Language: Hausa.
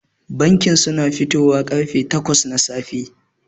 Bankin suna fitowa karfe takwas na safe.